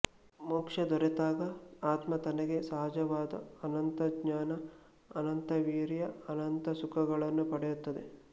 ಮೋಕ್ಷ ದೊರೆತಾಗ ಆತ್ಮ ತನಗೆ ಸಹಜವಾದ ಅನಂತಜ್ಞಾನ ಅನಂತವೀರ್ಯ ಅನಂತಸುಖಗಳನ್ನು ಪಡೆಯುತ್ತದೆ